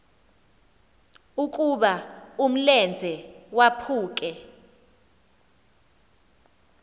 ukuba umlenze waphuke